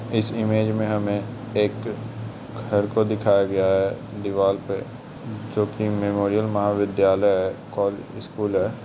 इस इमेज में हमें एक घर को दिखाया गया है दीवाल पे जो के मेमोरियल महाविद्यालय है कौ स्कूल है।